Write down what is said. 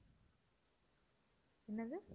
என்னது?